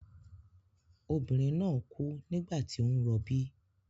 Obìnrin náà kú nígbà tí ó ń rọbí.